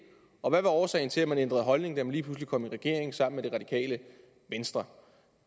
og hvad er årsagen til at man ændrede holdning da man lige pludselig kom i regering sammen med det radikale venstre